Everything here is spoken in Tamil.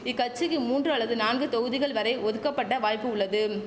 இக்கச்சிக்கு மூன்று அல்லது நான்கு தொகுதிகள் வரை ஒதுக்கப்பட்ட வாய்ப்பு உள்ளதும்